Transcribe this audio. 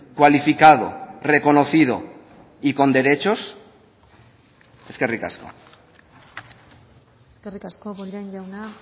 cualificado reconocido y con derechos eskerrik asko eskerrik asko bollain jauna